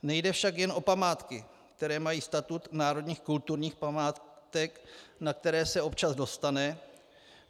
Nejde však jen o památky, které mají statut národních kulturních památek, na které se občas dostane.